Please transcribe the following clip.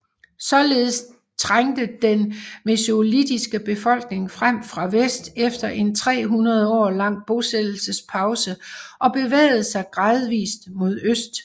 Således trængte den mesolitiske befolkning frem fra vest efter en 300 år lang bosættelsespause og bevægede sig gradvist mod øst